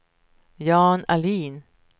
Jan Ahlin